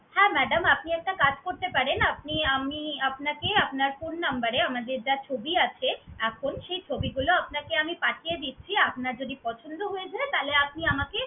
হ্যাঁ madam আপনি একটা কাজ করতে পারেন। আপনি আমি আপনাকে আপনার phone number এ আমাদের যা ছবি আছে এখন, সেই ছবিগুলো আপনাকে আমি পাঠিয়ে দিচ্ছি। আপনার যদি পছন্দ হয়ে যায় তাহলে আপনি আমাকে